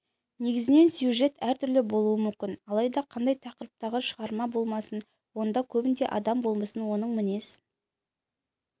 негізінен сюжет әртүрлі болуы мүмкін алайда қандай тақырыптағы шығарма болмасын онда көбінде адам болмысын оның мінез